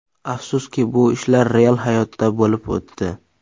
Afsuski, bu ishlar real hayotda bo‘lib o‘tdi.